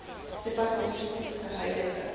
departement se huidige